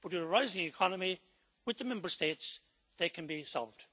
But in a rising economy, with the Member States, they can be solved.